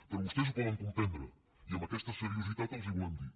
però vostès ho poden comprendre i amb aquesta seriositat els ho volem dir